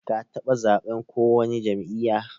Ka taba zaɓen ko wani jam'iyya?